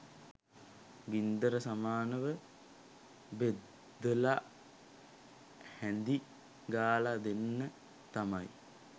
ගින්දර සමානව බෙදලා හැඳි ගාලා දෙන්න තමයි.